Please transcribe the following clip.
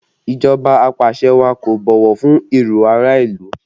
Ìjọba apàṣẹwàá kò bọ̀wọ̀ fún èrò ará ìlú